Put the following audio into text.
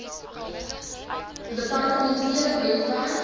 depar tementele webwerf